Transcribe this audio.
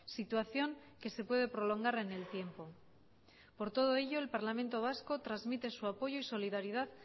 situación que se puede prolongar en el tiempo por todo ello el parlamento vasco transmite su apoyo y solidaridad